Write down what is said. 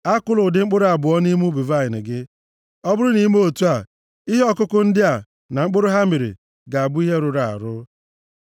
Akụla ụdị mkpụrụ abụọ nʼubi vaịnị gị. Ọ bụrụ na i mee otu a, ihe ọkụkụ ndị a, na mkpụrụ ha mịrị ga-abụ ihe rụrụ arụ.